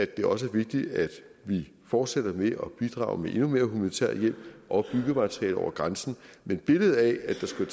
det også er vigtigt at vi fortsætter med at bidrage med endnu mere humanitær hjælp og byggemateriale over grænsen men billedet af at der skulle